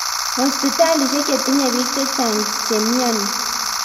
hosiptalishek che tinye bik chechang che miani